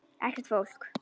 Ekkert fólk.